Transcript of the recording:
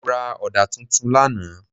Mo ra ọ̀dà tuntun lánàá.